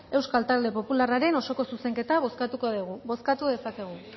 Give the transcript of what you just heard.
euskal talde popularraren osoko zuzenketa bozkatuko dugu bozkatu dezakegu